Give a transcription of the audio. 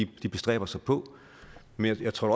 bestræber sig på men jeg tror